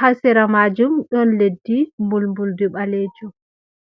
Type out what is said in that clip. ha sera majum ɗon leddi mbulmbuldi ɓalejum.